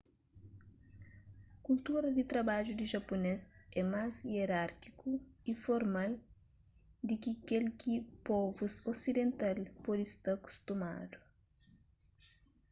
kultura di trabadju di japunês é más ierárkiku y formal di ki kel ki povus osidental pode sta kustumadu